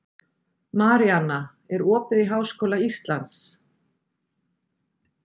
Maríanna, er opið í Háskóla Íslands?